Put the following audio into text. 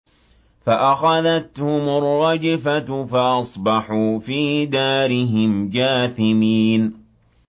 فَأَخَذَتْهُمُ الرَّجْفَةُ فَأَصْبَحُوا فِي دَارِهِمْ جَاثِمِينَ